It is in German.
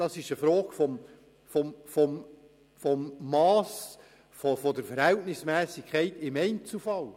Es handelt sich um eine Frage der Verhältnismässigkeit im Einzelfall.